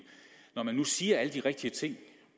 man siger alle de rigtige ting